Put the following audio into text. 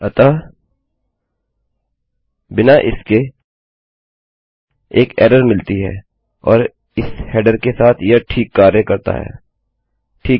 अतः बिना इसके हमें एक एररमिलती है और इस हेडरके साथ यह ठीक कार्य करता है ठीक है